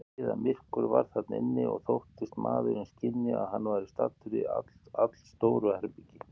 Niðamyrkur var þar inni, og þóttist maðurinn skynja, að hann væri staddur í allstóru herbergi.